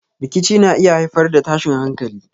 Rikici na iya haifar da tashin hankalin.